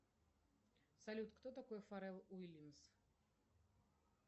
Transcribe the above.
салют кто такой фаррелл уильямс